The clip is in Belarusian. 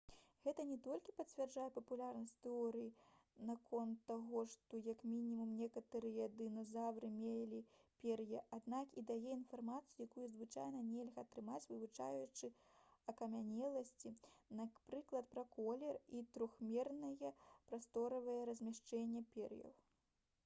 гэта не толькі пацвярджае папулярную тэорыю наконт таго што як мінімум некаторыя дыназаўры мелі пер'е аднак і дае інфармацыю якую звычайна нельга атрымаць вывучаючы акамянеласці напрыклад пра колер і трохмернае прасторавае размяшчэнне пер'яў